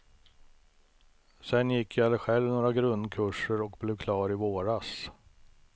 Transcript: Sedan gick jag själv några grundkurser och blev klar i våras.